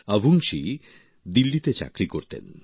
আভুংশী দিল্লিতে চাকরি করতেন